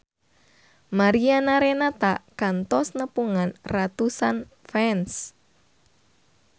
Mariana Renata kantos nepungan ratusan fans